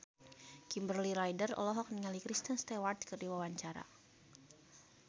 Kimberly Ryder olohok ningali Kristen Stewart keur diwawancara